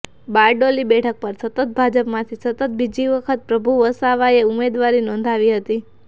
બારડોલી બેઠક પર સતત ભાજપમાંથી સતત બીજી વખત પ્રભુ વસાવાએ ઉમેદવારી નોંધાવી હતી